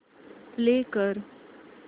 play कर